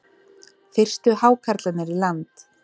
Fyrstu hákarlarnir í land